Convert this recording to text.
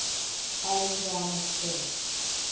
alan garner spent